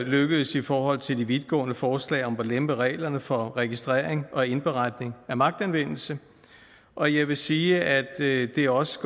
lykkedes i forhold til de vidtgående forslag om at lempe reglerne for registrering og indberetning af magtanvendelse og jeg vil sige at det også